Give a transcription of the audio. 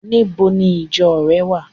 Níbo ni ìjo re wa?